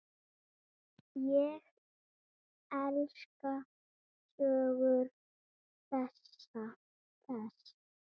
Ég elska sögur þess.